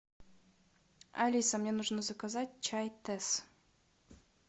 алиса мне нужно заказать чай тесс